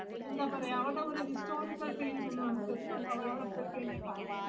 എന്താ പറയാ അവരടെ കൊറേ historical fillings ഒന്ന് നമുക്ക് അത് അവിടെ പോയിക്കഴിഞ്ഞ കാണാ